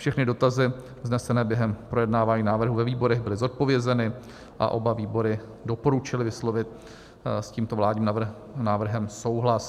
Všechny dotazy vznesené během projednávání návrhů ve výborech byly zodpovězeny a oba výbory doporučily vyslovit s tímto vládním návrhem souhlas.